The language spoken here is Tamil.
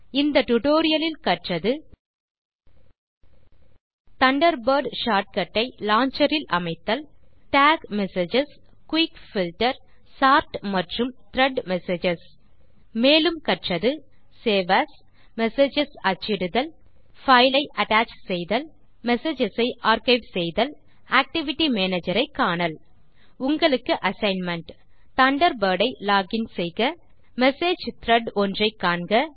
இந்த டியூட்டோரியல் இல் கற்றது தண்டர்பர்ட் ஷார்ட் கட் ஐ லான்ச்சர் இல் அமைத்தல் tag messages quick filter sort மற்றும் த்ரெட் மெசேஜஸ் மேலும் கற்றது சேவ் ஏஎஸ் மெசேஜஸ் அச்சிடுதல் பைல் ஐ அட்டச் செய்தல் மெசேஜஸ் ஆர்க்கைவ் செய்தல் ஆக்டிவிட்டி மேனேஜர் ஐ காணல் உங்களுக்கு அசைன்மென்ட் தண்டர்பர்ட் இல் லோகின் செய்க மெசேஜ் த்ரெட் ஒன்றை காண்க